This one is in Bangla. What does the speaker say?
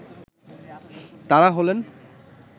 তাঁরা হলেন